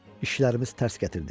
İşlərimiz tərs gətirdi.